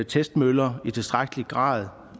testmøller i tilstrækkelig grad